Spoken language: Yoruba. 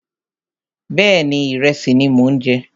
Bẹ́ẹ̀ni, ìrẹsì ni mò ń jẹ